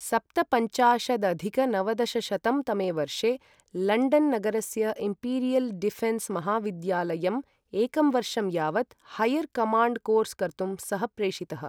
सप्तपञ्चाशदधिक नवदशशतं तमे वर्षे, लण्डन् नगरस्य इम्पीरियल् डिफेन्स् महाविद्यालयम् एकं वर्षं यावत् हैयर् कमाण्ड् कोर्स् कर्तुं सः प्रेषितः।